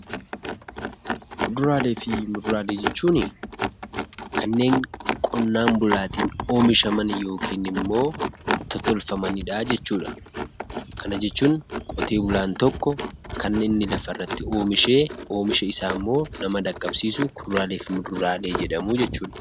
Kuduraalee fi muduraalee jechuun kannen qonnan bulattinnoomishaam yookiin immoo totolfamaanidha jechuudha. Kana jechuun qottee bulaan tokko wantootni lafaa irratti oomishee oomishaa isaa immoo namoota dhaqabsisuu kuduraalee fi muduraalee jedhamuu jechuudha.